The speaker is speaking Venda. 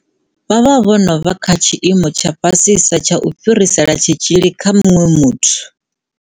Vha vha vho no vha kha tshiimo tsha fhasisa tsha u fhirisela tshitzhili kha muṅwe muthu.